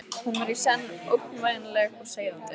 Hún var í senn ógnvænleg og seiðandi.